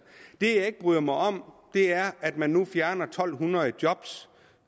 det jeg ikke bryder mig om er at man nu fjerner to hundrede job